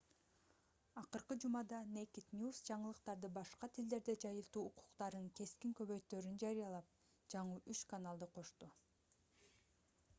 акыркы жумада naked news жаңылыктарды башка тилдерде жайылтуу укуктарын кескин көбөйтөөрүн жарыялап жаңы үч каналды кошту